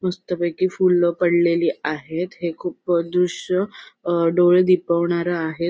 मस्तपैकी फुल पडलेली आहेत हे खूप दृश्य अ डोळे दिपवणार आहेत.